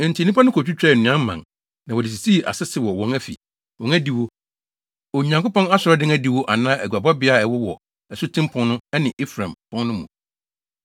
Enti nnipa no kotwitwaa nnua mman, na wɔde sisii asese wɔ wɔn afi, wɔn adiwo, Onyankopɔn asɔredan adiwo anaa aguabɔbea a ɛwowɔ Asuten Pon no ne Efraim Pon no mu.